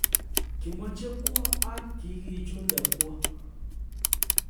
Kimoche kwo ak kigichunde kwo